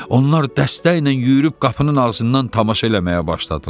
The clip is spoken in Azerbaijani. Onlar dəstəklə yürüyüb qapının ağzından tamaşa eləməyə başladılar.